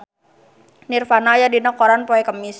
Nirvana aya dina koran poe Kemis